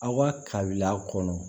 Aw ka kabila kɔnɔ